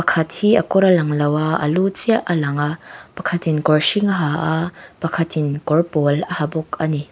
pakhat hi a kawr a lang lo a a lu chiah a lang a pakhat in kawr hring a ha a pakhat in kawr pawl a ha bawk a ni.